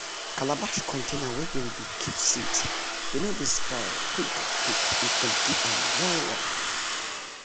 calabash container wey dey dem dey keep seeds dey no dey spoil quick quick if dem keep m well well